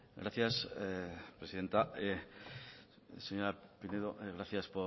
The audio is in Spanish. gracias presidenta señora pinedo gracias